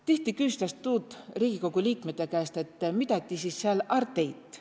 Tihti küstäs tuud Riigikogu liikmete käest, et midä ti siis sääl är teit.